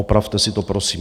Opravte si to prosím.